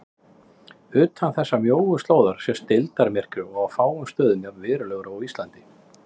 Utan þessarar mjóu slóðar sést deildarmyrkvi og á fáum stöðum jafn verulegur og á Íslandi.